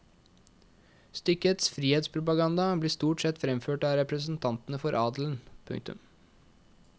Stykkets frihetspropaganda blir stort sett fremført av representantene for adelen. punktum